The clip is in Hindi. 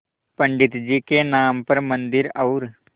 पंडित जी के नाम पर मन्दिर और